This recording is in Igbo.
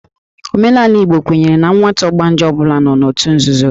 Omenala Igbo kwenyere na nwata ọgbanje ọ bụla nọ n'òtù nzuzo